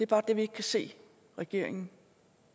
bare det vi ikke kan se regeringen